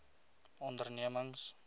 ondernemings